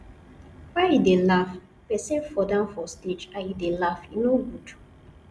why you dey laugh person fall down for stage and you dey laugh e no good